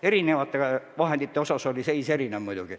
Erinevate vahendite osas oli seis küll erinev.